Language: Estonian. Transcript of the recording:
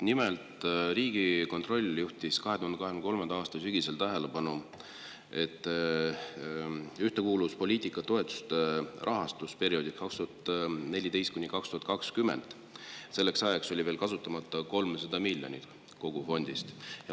Nimelt, Riigikontroll juhtis 2023. aasta sügisel tähelepanu sellele, et selleks ajaks oli ühtekuuluvuspoliitika rahastusperioodi 2014–2020 toetustest kasutamata veel 300 miljonit eurot.